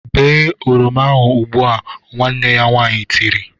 "Bee oroma ahụ ugbu! "Nwanne ya nwaanyị tiri.